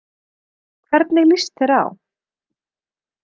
Hvernig líst þér á?